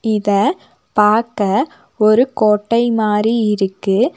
இத பாக்க ஒரு கோட்டை மாரி இருக்கு.